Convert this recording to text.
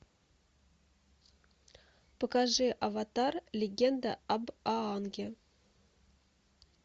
покажи аватар легенда об аанге